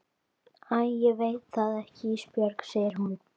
Æ ég veit það ekki Ísbjörg, segir hún.